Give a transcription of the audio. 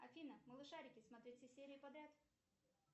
афина малышарики смотреть все серии подряд